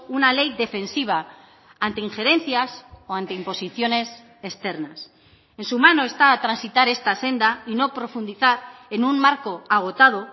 una ley defensiva ante injerencias o ante imposiciones externas en su mano está transitar esta senda y no profundizar en un marco agotado